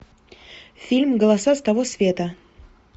фильм голоса с того света